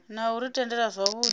na u ri tendela zwauri